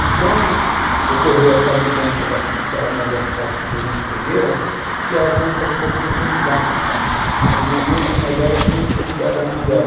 E quando ocorreu essa mudança da minha avó ficar com problema de cegueira, que a nossa vida começou a mudar, que minha mãe, como mais velha, tinha que cuidar da mãe dela.